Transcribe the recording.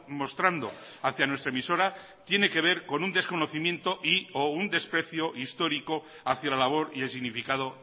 mostrando hacia nuestra emisora tiene que ver con un desconocimiento y o un desprecio histórico hacia la labor y el significado